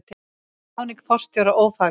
Ráðning forstjóra ófagleg